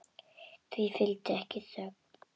Því fylgdi ekki þögn.